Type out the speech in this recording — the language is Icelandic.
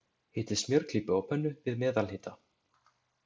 Hitið smjörklípu á pönnu, við meðalhita.